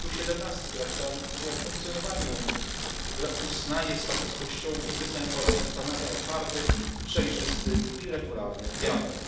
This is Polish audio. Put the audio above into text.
przekonań. Artykuł 17 Traktatu o funkcjonowaniu Unii Europejskiej uznaje status Kościołów i wyznań oraz ustanawia otwarty, przejrzysty i regularny